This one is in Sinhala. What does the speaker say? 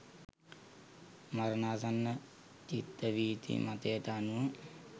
මරණාසන්න චිත්තවීති මතයට අනුව